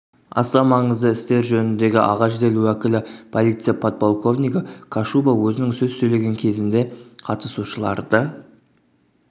аса маңызды істер жөніндегі аға жедел уәкілі полиция подполковнигі кашуба өзінің сөз сөйлеген кезінде қатысушыларды